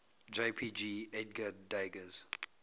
jpg edgar degas